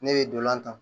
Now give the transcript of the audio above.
Ne bɛ dolan ta